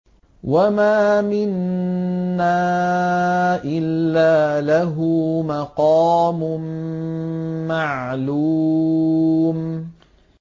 وَمَا مِنَّا إِلَّا لَهُ مَقَامٌ مَّعْلُومٌ